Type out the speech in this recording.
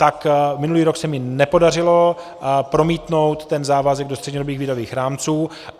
Tak minulý rok se mi nepodařilo promítnout ten závazek do střednědobých výdajových rámců.